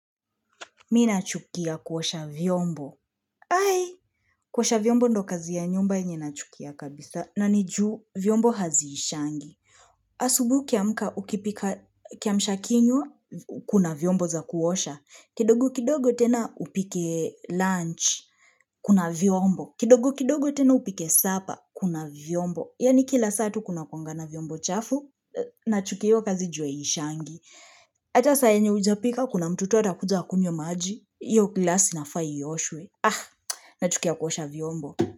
Mimi nachukia kuosha vyombo. Hai, kuosha vyombo ndio kazi ya nyumba yenye nachukia kabisa. Na ni ju vyombo haziishangi. Asubui ukiamka ukipika kiamsha kinywa kuna vyombo za kuosha. Kidogu kidogo tena upike lunch, kuna vyombo. Kidogu kidogo tena upike supper, kuna vyombo. Yani kila saa tu kuna kuangana vyombo chafu, na chukio kazi jwe ishangi. Acha saa yenye hujapika, kuna mtu atakuja kunywa maji. Hio glasi inafaa iyoshwe Ah, nachukia kuosha vyombo.